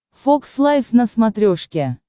фокс лайф на смотрешке